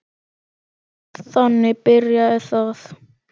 Þannig byrjaði það.